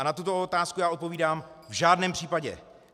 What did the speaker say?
A na tuto otázku já odpovídám: V žádném případě.